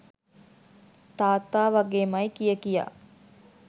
තාත්තා වගේමයි කිය කියා